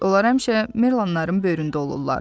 Onlar həmişə Merlanların böyründə olurlar.